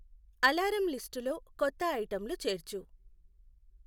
alarm లిస్టులో కొత్త ఐటెంలు చేర్చు